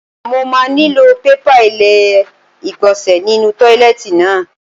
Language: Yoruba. Mo máa nílò pépà ilé ìgbọ̀nsẹ̀ nínú tọ́ílẹ́ẹ̀tì náà.